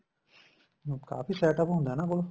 ਕਾਫੀ setup ਹੁੰਦਾ ਇਹਨਾ ਕੋਲ